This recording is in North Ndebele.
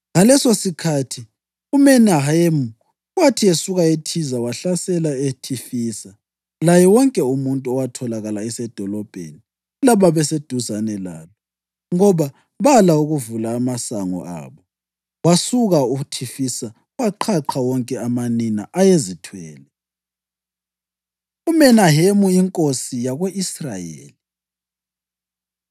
Ngalesosikhathi uMenahemu, wathi esuka eThiza wahlasela uThifisa laye wonke umuntu owatholakala esedolobheni lababeseduzane lalo, ngoba bala ukuvula amasango abo. Wasuka uThifisa waqhaqha wonke amanina ayezithwele. UMenahemu Inkosi Yako-Israyeli